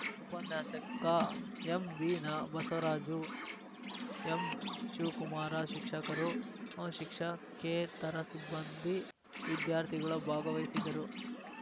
ಉಪನ್ಯಾಸಕ ಎಂಬಿನ ಬಸವರಾಜು ಎಂಶಿವಕುಮಾರ ಶಿಕ್ಷಕರು ಶಿಕ್ಷಕೇತರ ಸಿಬ್ಬಂದಿ ವಿದ್ಯಾರ್ಥಿಗಳು ಭಾಗವಹಿಸಿದರು